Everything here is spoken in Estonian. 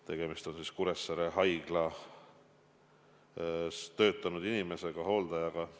Tegemist on Kuressaare haiglas töötanud inimesega, hooldajaga.